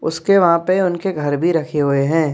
उसके वहां पे उनके घर भी रखे हुए हैं।